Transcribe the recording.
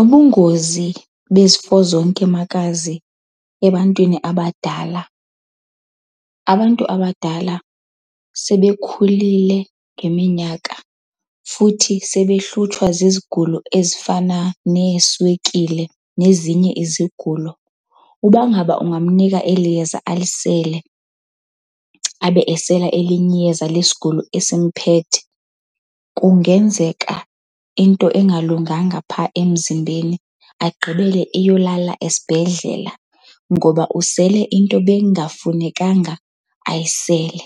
Ubungozi bezifo zonke makazi ebantwini abadala, abantu abadala sebekhulile ngeminyaka futhi sebehlutshwa zizigulo ezifana neeswekile nezinye izigulo. Uba ngaba ungamnika eli yeza alisele abe esela elinye iyeza lesigulo esimphethe, kungenzeka into engalunganga pha emzimbeni agqibele eyolala esibhedlela ngoba usele into bengafunekanga ayisele.